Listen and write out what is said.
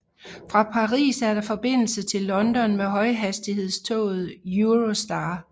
Fra Paris er der forbindelse til London med højhastighedstoget Eurostar